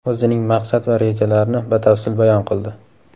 o‘zining maqsad va rejalarini batafsil bayon qildi.